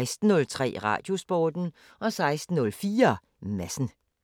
16:03: Radiosporten 16:04: Madsen